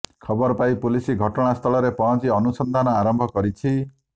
ଖବର ପାଇ ପୁଲିସ ଘଟଣାସ୍ଥଳରେ ପହଞ୍ଚି ଅନୁସନ୍ଧାନ ଆରମ୍ଭ କରିଛି